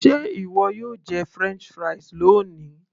ṣé ìwọ yóò jẹ french fries loni